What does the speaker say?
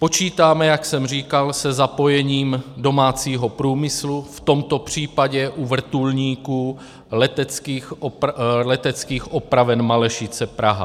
Počítáme, jak jsem říkal, se zapojením domácího průmyslu, v tomto případě u vrtulníků Leteckých opraven Malešice Praha.